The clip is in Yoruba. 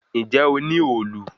Ǹjé o ní òòlù?